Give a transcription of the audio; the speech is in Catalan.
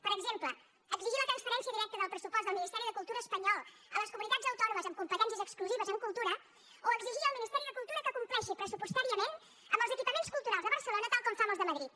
per exemple exigir la transferència del pressupost del ministeri de cultura espanyol a les comunitats autònomes amb competències exclusives en cultura o exigir al ministeri de cultura que compleixi pressupostàriament amb els equipaments culturals de barcelona tal com fa amb els de madrid